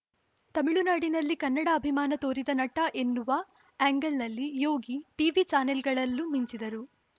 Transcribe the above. ತಮಿಳುನಾಡಿನಲ್ಲಿ ಕನ್ನಡ ಅಭಿಮಾನ ತೋರಿದ ನಟ ಎನ್ನುವ ಆ್ಯಂಗಲ್‌ನಲ್ಲಿ ಯೋಗಿ ಟಿವಿ ಚಾನೆಲ್‌ಗಳಲ್ಲೂ ಮಿಂಚಿದರು